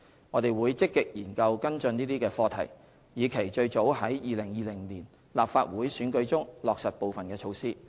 我們會積極研究跟進這些課題，以期最早於2020年立法會選舉中落實部分措施。